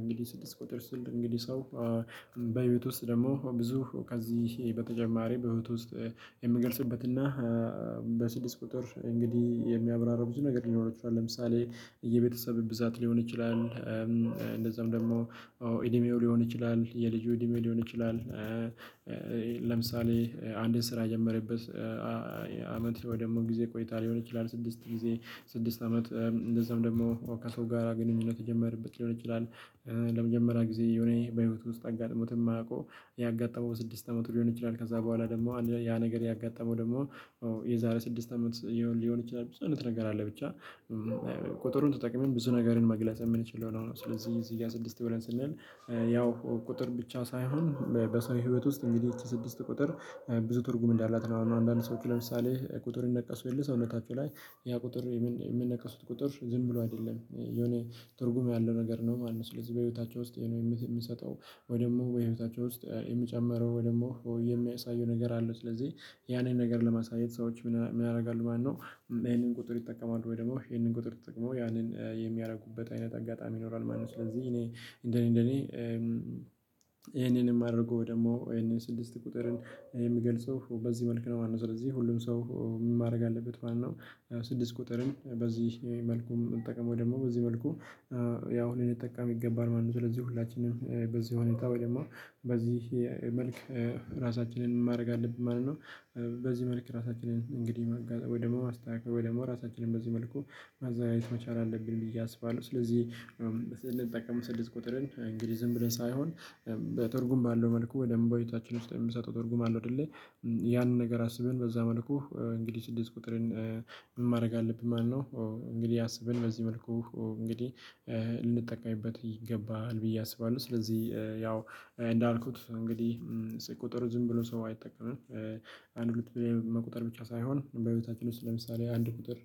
እንግዲህ ስድስት ቁጥር ስል እንግዲህ ሰው በህይወት ውስጥ ደግሞ ብዙ ከዚህ በተጨማሪ በህይወት ውስጥ የምገልጽበት እና በስድስት ቁጥር እንግዲህ የሚያብራራብ ብዙ ነገር ሊኖረው ይችላል። ለምሳሌ የቤተሰብ ብዛት ሊሆን ይችላል። እንደዛም ደግሞ እድሜው ሊሆን ይችላል። የልጁ እድሜ ሊሆን ይችላል። ለምሳሌ አንድን ስራ የጀመረበት አመት ወይ ደግሞ ጊዜ ቆይታ ሊሆን ይችላል። ስድስት ጊዜ ስድስት አመት እንደዛም ደግሞ ከሰው ጋራ ግንኙነት የጀመርበት ሊሆን ይችላል። ለመጀመሪያ ጊዜ የሆነ በህይወቱ ውስጥ አጋጥሞትም የማያውቀው ያጋጠመው በስድስት አመቱ ሊሆን ይችላል። ከዛ በኋላ ደግሞ ያ ነገር ያጋጠመው ደግሞ የዛሬ ስድስት አመት ሊሆን ይችላል። ብዙ አይነት ነገር አለ። ብቻ ቁጥሩን ተጠቅመን ብዙ ነገርን መግለጽ የምንችለው ነው። ስለዚህ እዚህ ጋር ስድስት ብለን ስንል ያው ቁጥር ብቻ ሳይሆን በሰው ህይወት ውስጥ እንግዲህ ስድስት ቁጥር ትርጉም እንዳላት ነው። አንዳንድ ሰዎች ለምሳሌ ቁጥር ይነቀሱ የለ ሰውነታቸው ላይ ያ ቁጥር የምነቀሱት ቁጥር ዝም ብሎ አይደለም የሆነ ትርጉም ያለው ነገር ነው። ማለት ነው። ስለዚህ በህይወታቸው ውስጥ የምሰጠው ወይ ደግሞ በህይወታቸው ውስጥ የሚጨምረው ወይ ደግሞ ወይ የሚያሳየው ነገር አለው። ስለዚህ ያንን ነገር ለማሳየት ሰዎች ምን ያደርጋሉ ማለት ነው? ይሄንን ቁጥር ይጠቀማሉ ወይ ደግሞ ይሄንን ቁጥር ተጠቅመው ያንን የሚያደርጉበት አይነት አጋጣሚ ይኖራል ማለት ነው። ስለዚህ እኔ እንደኔ እንደኔ ይሄንንም አድርጎ ደግሞ ይሄንን ስድስት ቁጥርን የሚገልጸው በዚህ መልኩ ነው ማለት ነው። ስለዚህ ሁሉም ሰው ምን ማድረግ አለበት ማለት ነው? ስድስት ቁጥርን በዚህ መልኩም መጠቀም ወይም ደግሞ በዚህ መልኩ ያው ሊንጠቀም ይገባል ማለት ነው። ስለዚህ ሁላችንም በዚህ ሁኔታ ወይም ደግሞ በዚህ መልክ ራሳችንን ምን ማድረግ አለብን ማለት ነው? በዚህ መልክ ራሳችንን እንግዲህ ወይ ደግሞ አስተካክለን ወይ ደግሞ ራሳችንን በዚህ መልኩ አዛይት መቻል አለብን ብዬ አስባለሁ። ስለዚህ ስንጠቀም ስድስት ቁጥርን እንግሊዝም ብለን ሳይሆን በትርጉም ባለው መልኩ ወይ ደግሞ በሕይወታችን ውስጥ የሚሰጠው ትርጉም አለው። አደሌ ያንን ነገር አስበን በዛ መልኩ እንግዲህ ስድስት ቁጥርን ማድረግ አለብን ማለት ነው። እንግዲህ አስብን በዚህ መልኩ እንግዲህ ልንጠቀምበት ይገባሃል ብዬ አስባለሁ። ስለዚህ ያው እንዳልኩት እንግዲህ ቁጥር ዝም ብሎ ሰው አይጠቀምም። አንድ ሁለት መቁጠር ብቻ ሳይሆን በሕይወታችን ለምሳሌ አንድ ቁጥር